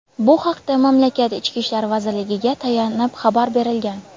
Bu haqda mamlakat Ichki ishlar vazirligiga tayanib xabar berilgan.